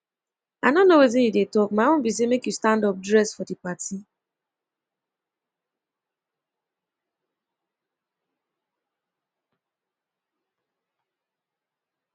i no know wetin you dey talk my own be say make you you stand up dress for the party